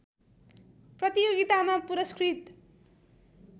प्रतियोगितामा पुरस्कृत